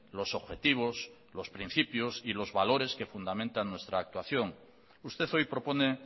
los objetivos los principios y los valores que fundamentan nuestra actuación usted hoy propone